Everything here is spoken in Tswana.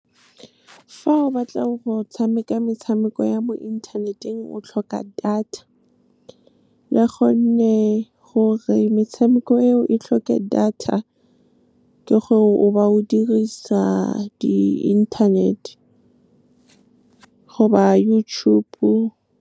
Fa o batla go tshameka metshameko ya mo inthaneteng, o tlhoka data, gonne gore metshameko eo e tlhoke data ke gore o ba o dirisa di-internet goba YouTube-o.